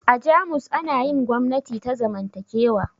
A jamus ana yin gwamnati ta zamantakewa